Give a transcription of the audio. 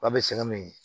An bɛ sɛgɛn min ye